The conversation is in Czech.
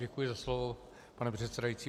Děkuji za slovo, pane předsedající.